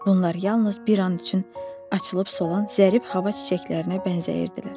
Bunlar yalnız bir an üçün açılıb solan zərif hava çiçəklərinə bənzəyirdilər.